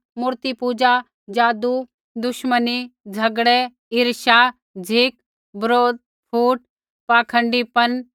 मूर्तिपूजा जादू दुश्मनी झ़गड़ै ईर्ष्या झ़िक बरोध फूट पाखण्डीपन